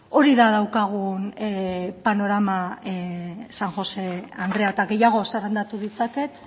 hori da daukagun panorama san josé andrea eta gehiago zerrendatu ditzaket